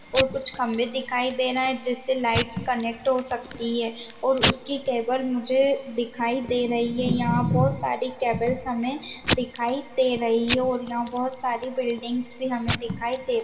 और कुछ खंबे दिखाई दे रहे हैं जिसे लाइटस कनेक्ट हो सकती है और उसकी केबल मुझे दिखाई दे रही है यहाँ बहोत सारी केबल्स हमे दिखाई दे रही है और यहाँ बहोत सारी बिल्डिंगस भी हमे दिखाई दे --